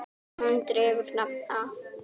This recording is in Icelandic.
Hún dregur nafn af